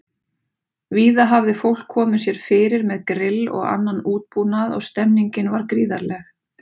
Víða hafði fólk komið sér fyrir með grill og annan útbúnað og stemmningin var gríðarleg.